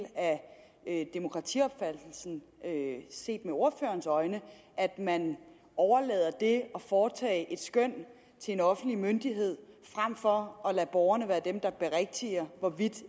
af demokratiopfattelsen set med ordførerens øjne at man overlader det at foretage et skøn til en offentlig myndighed frem for at lade borgerne være dem der berigtiger hvorvidt